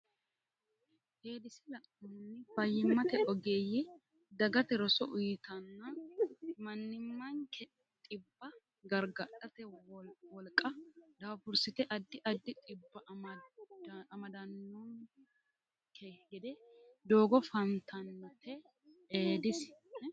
Eedisi lainohunni fayyimmate ogeeyye dagate roso uytanna mannimmanke dhibba gargadhate wolqa daafursite addi addi dhibbi amadannonke gede doogo fantannote Eedisi.